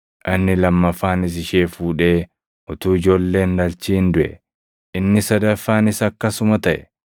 Inni lammaffaanis ishee fuudhee utuu ijoollee hin dhalchin duʼe. Inni sadaffaanis akkasuma taʼe.